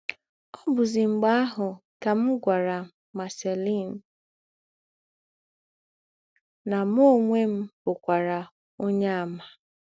Ọ̀ bụ̀zì mḡbè àhụ̀ kà m gwàrà Marceline nà mụ ǒnwé m bụ̀kwara Onyeàmà.